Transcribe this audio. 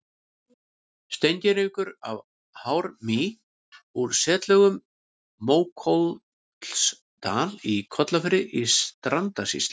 Steingervingur af hármýi úr setlögum í Mókollsdal í Kollafirði í Strandasýslu.